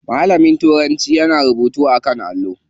Malamin turanci yana rubutu a kan allo.